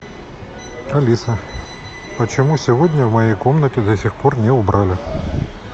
алиса почему сегодня в моей комнате до сих пор не убрали